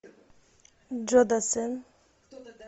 джо дассен